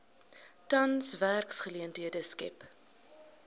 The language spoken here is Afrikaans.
tans werksgeleenthede skep